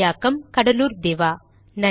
மொழியாக்கம் கடலூர் திவா